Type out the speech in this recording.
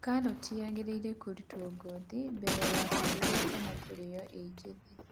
Karati yagĩrĩirwo kũrutwo ngothi mbere ya kũrugwo kana kũrĩo ĩ njĩthĩ